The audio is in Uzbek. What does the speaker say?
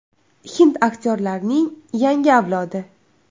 Hind aktyorlarining yangi avlodi.